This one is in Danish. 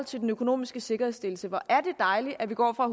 til den økonomiske sikkerhedsstillelse hvor er det dejligt at vi går fra